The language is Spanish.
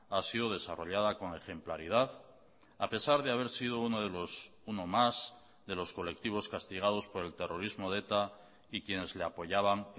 ha sido desarrollada con ejemplaridad a pesar de haber sido uno de los uno más de los colectivos castigados por el terrorismo de eta y quienes le apoyaban